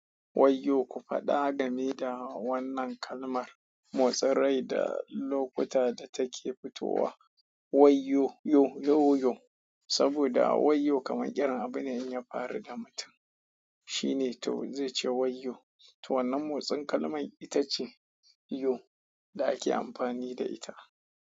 Wayyo ku faɗa game da wannan kalmar motsin rai da lokuta da take fitowa waiyo yo yoyo. Saboda wayyo kamar ƙaran abu ne in ya faru da mutum shine to zai ce wayyo. To wannan motsin kalman ita ce yo da ake ampani da ita.